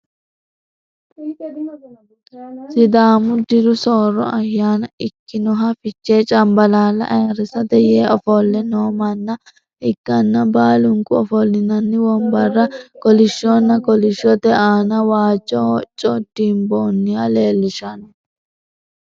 sidaamu diru soorro ayyaana ikkinoha fichee cambalaalla ayiirisate yee ofolle noo manna ikkanna, baalunku ofolinanni wonbarra kolishshonna kolishshote aana waajjo hocco dimboonniha leelishshanno.